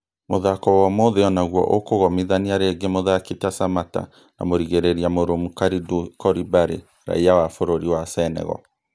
Mũthako wo-ũmũthĩ onaguo ũkũgomithania rĩngĩ mũthaki ta Samatta na mũrigĩrĩria mũrumu Kalidou Koulibaly raiya wa bũrũri wa Senegal